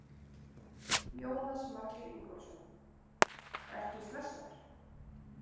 Jónas Margeir Ingólfsson: Ertu stressaður?